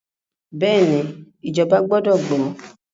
Bẹ́ẹ̀ni, ìjọba gbọdọ̀ gbọ́.